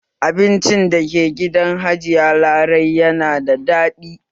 Abinci dake gidan abincin hajiya larai yana da daɗi